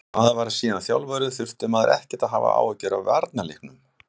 Þegar maður varð síðan þjálfari þurfti maður ekkert að hafa áhyggjur af varnarleiknum.